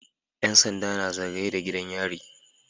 Yan sanda na zagaye da gidan yari